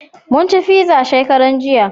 Mun ci fiza shekaran jiya